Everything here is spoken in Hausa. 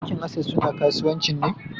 Bankin access suna kasuwanci ne.